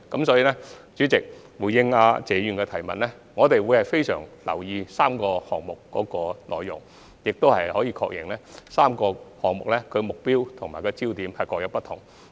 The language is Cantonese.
主席，回應謝議員的問題，我們會非常留意3個項目的內容，亦確認3個項目的目標和焦點各有不同。